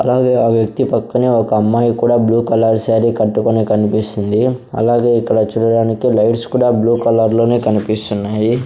అలాగే ఆ వ్యక్తి పక్కనే ఒక అమ్మాయి కూడా బ్లూ కలర్ సారీ కట్టుకొనే కనిపిస్తుంది అలాగే ఇక్కడ చూడడానికి లైట్స్ కూడా బ్లూ కలర్ లోనే కనిపిస్తున్నాయి.